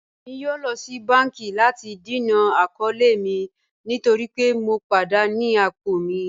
Ẹ̀mi yóò lọ sí bánkì láti dẹ̀nà àkọọ̀lẹ̀ mi nítorí pẹ̀ mọ̀ padà ní apọ̀ mi